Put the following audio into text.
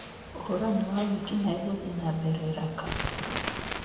ũhũrani wa wĩki-naĩ gũthiĩ na mbere Raqqa